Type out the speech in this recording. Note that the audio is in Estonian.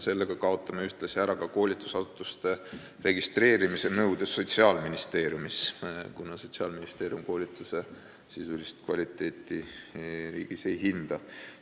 Sellega kaotame ühtlasi ära koolitusasutuste registreerimise nõude Sotsiaalministeeriumis, kuna Sotsiaalministeerium ei hinda meie riigis koolituse sisulist kvaliteeti.